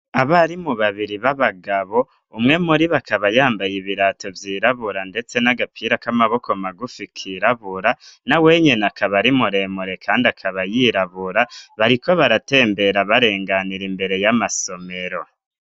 abarimu babiri b'abagabo umwe muri bo akaba yambaye ibirato vyirabura ndetse n'agapira k'amaboko magufi kirabura na wenyine akaba arimuremure kandi akaba yirabura bariko baratembera barenganira imbere y'amasomero